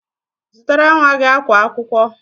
Zụtara nwa gị akwa akwụkwọ!